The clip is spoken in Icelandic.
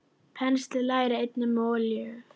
Penslið lærið einnig með olíu.